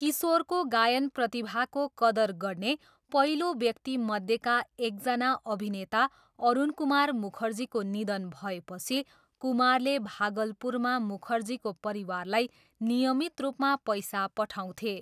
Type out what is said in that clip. किशोरको गायन प्रतिभाको कदर गर्ने पहिलो व्यक्तिमध्येका एकजना अभिनेता अरुनकुमार मुखर्जीको निधन भएपछि कुमारले भागलपुरमा मुखर्जीको परिवारलाई नियमित रूपमा पैसा पठाउँथे।